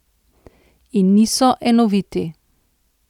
In niso enoviti.